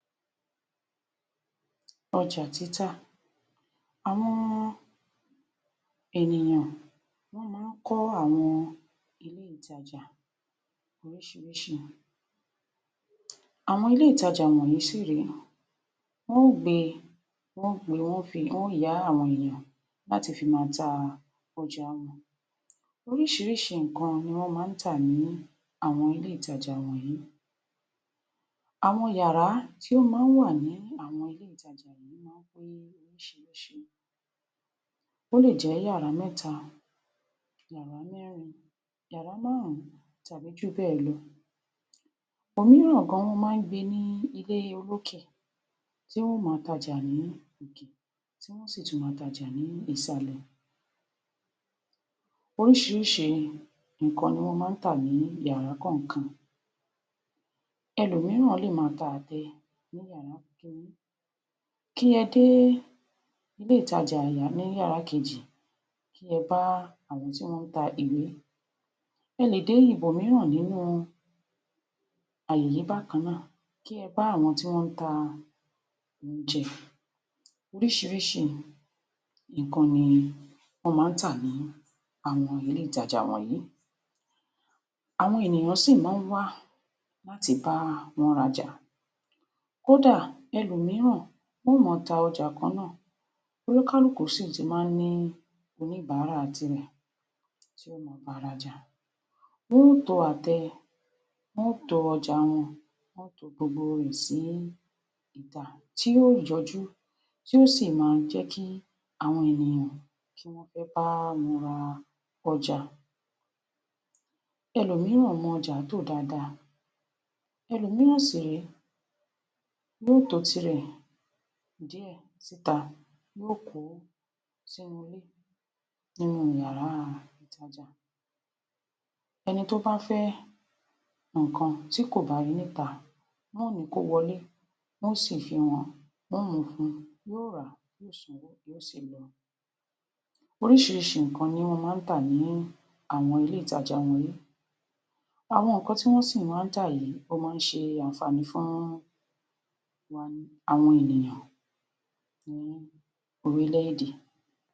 Ọjà Títà. Àwọn ènìyàn wọ́n má ń kọ́ àwọn ilé ìtajà oríṣiiriṣii, àwọn ilé ìtajà wọ̀nyìí sì rèé, wọ́n ó gbé e, won o yá àwọn èyàn láti fi màa ta ọjà wọn. Oríṣiríṣii nǹkan ni wọ́n má ń tà ní àwọn ilé ìtajà wònyìí. Àwọn yàrá tí ó má ń wà ní àwọn ilé ìtajà yìí má ń pé oríṣiríṣii, o le jẹ́ yàrá mẹ́ta, yàrá mẹ́rin, yàrá márùn-ún tàbí jù béè lọ. Òmíràn gan, wọn má ń gbé e ní ilé olókè, tí wọn ó máa t’ajà ní òkè, ti wọn o sì tún máa t’ajà ni ìsàlẹ̀. Oríṣiríṣii nǹkan ni wón má ń tà ní yàrá kọ̀ọ̀kan; ẹlòmíràn le máa ta àtẹ ní yàrá kín-ní, kí ẹ dé ilé ìtajà ní yàrá kejì kí ẹ bá àwọn tí wọ́n ń ta iwé, e le dé ibòmíràn nínú àyè yìí bákan náà, kí ẹ bá àwon tí wọ́n ń ta óúnjẹ. Oríṣiríṣii nǹkan ni wọ́n má ń tà ní àwọn ilé ìtajà wọ̀nyìí. Àwọn ènìyàn sì má ń wá láti bá wọn r’aja. Kódà, ẹlòmíràn wọ́n ó máa ta ọjà kan náà, oníkálùkù si ti má ń ní oníbàárà tirẹ̀ ti o ma aba r’ajà. Wọn ó to àtẹ, won ó to ọjà wọn, wọn o to gbogbo rẹ̀ sí ìta, tí yíó jọjú, tí ó sì máa jẹ́ kí àwọn ènìyàn kí wọ́n fẹ́ bá wọn ra ọjà. Ẹlòmíràn mọ ọjà tò dáadáa, ẹlòmíràn sì rèé, yóó to ọjà tirè díè s’íta, yóó kó o s’ínú ilé nínú yàrá ìtajà. Ẹni tó bá fẹ́ nǹkan tí kò bá rí i n’íta, wọn o ni kó wọlé, wọ́n ó sì fi hàn án, wọn o mú un fún un, yóó rà á, yóó sanwó, yóó sì lọ. Orísiríṣii nǹkan ni wón má ń tà ní àwọn ilé ìtajà wọ̀nyìí. Àwọn nǹkan tí wón sì má ń tá yìí ó má ń ṣe àǹfààní fún àwọn ènìyàn ní orílẹ̀-èdè.